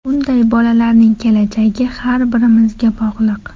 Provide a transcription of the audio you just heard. Bunday bolalarning kelajagi har birimizga bog‘liq.